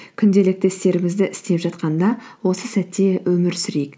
күнделікті істерімізді істеп жатқанда осы сәтте өмір сүрейік